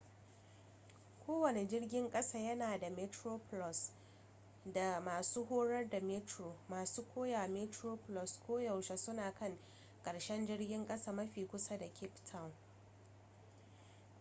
kowane jirgin ƙasa yana da metroplus da masu horar da metro masu koyawa metroplus koyaushe suna kan ƙarshen jirgin ƙasa mafi kusa da cape town